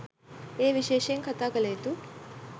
එය විශේෂයෙන් කතා කළ යුතු